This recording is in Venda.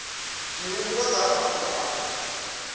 mihumbulo nga ha mafhungo a